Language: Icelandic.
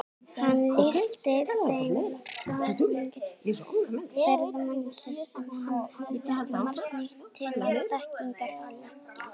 Hann lýsti þeim af hrifningu ferðamannsins, en hafði ekki margt nýtt til þekkingar að leggja.